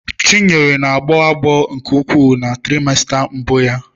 Chinenye na-agbo agbo nke ukwuu na traimesta mbụ ya.